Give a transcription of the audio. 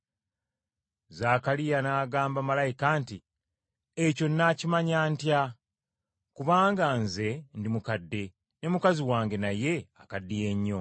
Zaakaliya n’agamba malayika nti, “Ekyo nnaakimanya ntya? Kubanga nze ndi mukadde, ne mukazi wange naye akaddiya nnyo.”